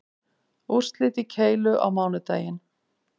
Úrslit í keilu á mánudaginn